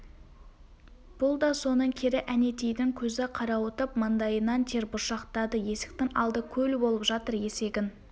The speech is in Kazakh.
бұл да соның кері әнетейдің көзі қарауытып маңдайынан тер бұршақтады есіктің алды көл болып жатыр есегін